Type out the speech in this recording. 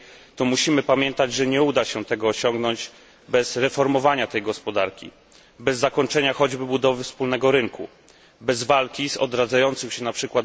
to musimy pamiętać, że nie uda się tego osiągnąć bez reformowania tej gospodarki, bez zakończenia choćby budowy wspólnego rynku, bez walki z odradzającym się, np.